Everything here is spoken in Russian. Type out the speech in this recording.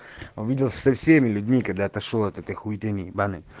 увидел со всеми людьми когда отошёл от этой хуиты ибанной